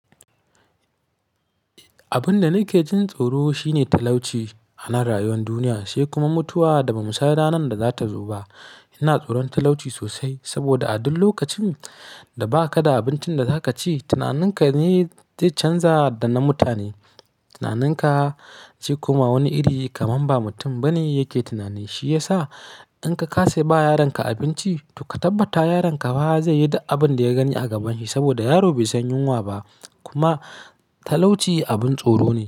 Abin da nake jin tsoro shine talauci a nan rayuwar duniya, sai kuma mutuwa da ba mu san ranar da za ta zo ba. Ina tsoron talauci sosai saboda a duk lokacin da ba ka da abincin da za ka ci, tunaninka ne zai canza da na mutane. Tunaninka zai kuma wani iri kamar ba mutum ba ne yake tunani. Shi ya sa in ka ka sai ba yaronka abinci, to ka tabbata yaronka ba zai yi da abin da ya gani a gaban shi ba saboda yaro bai san yunwa ba kuma talauci abin tsoro ne.